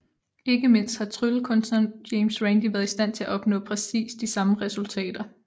Ikke mindst har tryllekunstneren James Randi været i stand til at opnå præcis de samme resultater